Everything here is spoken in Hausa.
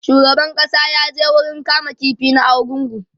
shugaban ƙasa ya je wurin kama ƙifi na argungu